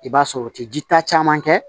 I b'a sɔrɔ o ti jita kɛ